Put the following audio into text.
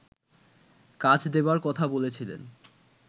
কাজ দেবার কথা বলেছিলেন